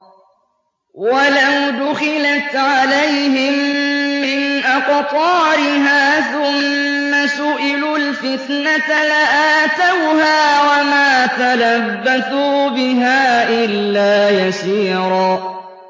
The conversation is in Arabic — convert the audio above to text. وَلَوْ دُخِلَتْ عَلَيْهِم مِّنْ أَقْطَارِهَا ثُمَّ سُئِلُوا الْفِتْنَةَ لَآتَوْهَا وَمَا تَلَبَّثُوا بِهَا إِلَّا يَسِيرًا